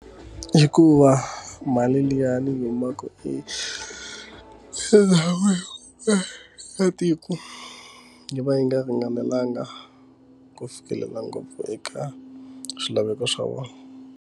Hikuva mali liya ni yi humaka eka sekithara ya tiko yi va yi nga ringanelanga ku fikelela ngopfu eka swilaveko swa vona.